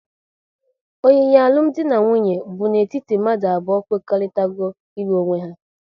Oyiyi alụmdi na nwunye bụ n'etiti mmadụ abụọ kwekoritarago ilu onwe ha